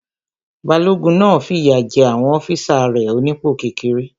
Balógun náà fìyà jé àwọn ọ́físà rẹ̀ onípò kékeré